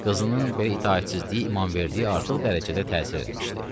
Qızının belə itaətsizliyi İmamverdiyə artıq dərəcədə təsir eləmişdi.